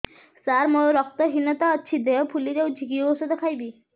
ସାର ମୋର ରକ୍ତ ହିନତା ଅଛି ଦେହ ଫୁଲି ଯାଉଛି କି ଓଷଦ ଖାଇବି